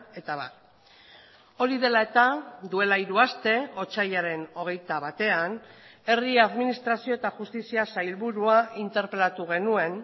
eta abar hori dela eta duela hiru aste otsailaren hogeita batean herri administrazio eta justizia sailburua interpelatu genuen